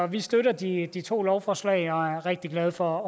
vi støtter de de to lovforslag og er rigtig glade for